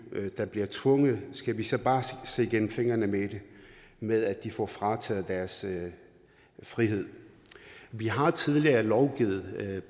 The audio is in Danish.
der bliver tvunget skal vi så bare se igennem fingre med med at de får frataget deres frihed vi har tidligere lovgivet